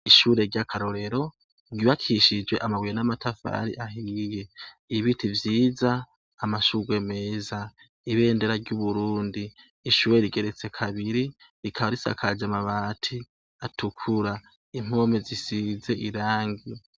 Ishure ry'akarorero ryubakishije amabuye namatafari ahiye, ibiti vyiza, amashurwe meza ibendera ry'uburundi, ishure rigeretse kabiri rikaba risakaje amabati atukura, impome zisize iragi.